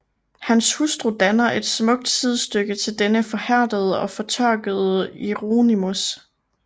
Hans Hustru danner et smukt Sidestykke til denne forhærdede og fortørkede Jeronimus